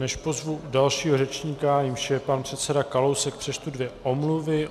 Než pozvu dalšího řečníka, jímž je pan předseda Kalousek, přečtu dvě omluvy.